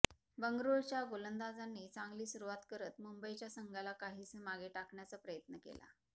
बंगळुरूच्या गोलंदाजांनी चांगली सुरुवात करत मुंबईच्या संघाला काहीसं मागे टाकण्याचा प्रयत्न केला